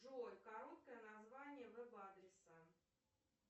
джой короткое название вэб адреса